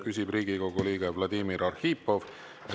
Küsib Riigikogu liige Vladimir Arhipov.